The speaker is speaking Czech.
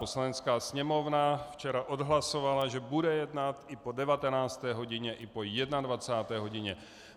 Poslanecká sněmovna včera odhlasovala, že bude jednat i po 19. hodině i po 21. hodině.